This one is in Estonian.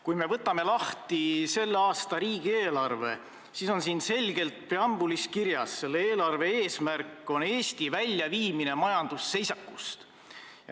Kui me võtame lahti selle aasta riigieelarve, siis näeme, et preambulis on selgelt kirjas: eelarve eesmärk on Eesti väljaviimine majandusseisakust.